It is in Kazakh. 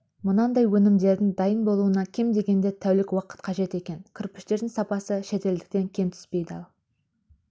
мынадай өнімдердің дайын болуына кем дегенде тәулік уақыт қажет екен кірпіштердің сапасы шетелдікінен кем түспейді ал